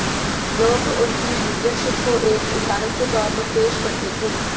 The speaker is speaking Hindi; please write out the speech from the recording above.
लोग उनकी लीडरशिप को एक उदाहरण के तौर पर पेश करते थे